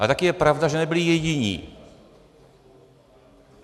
A také je pravda, že nebyli jediní.